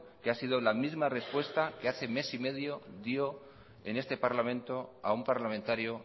que ha sido la misma respuesta que hace mes y medio dio en este parlamento a un parlamentario